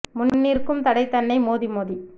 முன்நிற்கும் தடைதன்னை மோதி மோதி